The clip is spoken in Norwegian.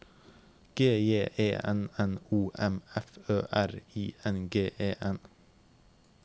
G J E N N O M F Ø R I N G E N